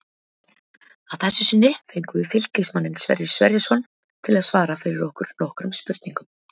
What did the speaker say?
Að þessu sinni fengum við Fylkismanninn Sverrir Sverrisson til að svara fyrir okkur nokkrum spurningum.